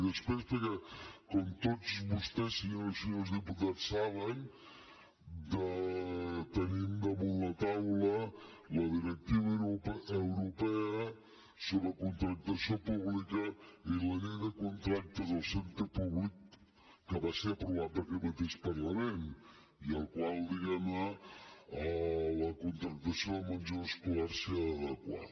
i després perquè com tots vostès senyores i senyors diputats saben tenim damunt la taula la directiva europea sobre contractació pública i la llei de contractes del centre públic que va ser aprovada per aquest mateix parlament i a la qual diguem ne la contractació del menjador escolar s’ha d’adequar